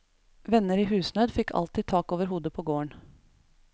Venner i husnød fikk alltid tak over hodet på gården.